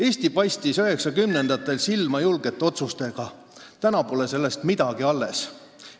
Eesti paistis 1990-ndatel silma julgete otsustega, aga tänaseks pole sellest midagi alles.